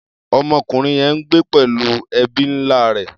Ọmọkùnrin yẹn ń gbé pẹ̀lú ẹbí ńlá rẹ̀.